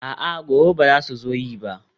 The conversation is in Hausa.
a'a, gobe ba za su zo yi ba